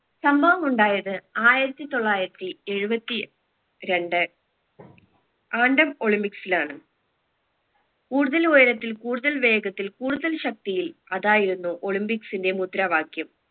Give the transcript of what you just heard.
സംഭവമുണ്ടായത് ആയിരത്തി തൊള്ളായിരത്തി എഴുപത്തി രണ്ട് olympics ലാണ് കൂടുതൽ ഉയരത്തിൽ കൂടുതൽ വേഗത്തിൽ കൂടുതൽ ശക്തിയിൽ അതായിരുന്നു olympics ന്റെ മുദ്രവാക്യം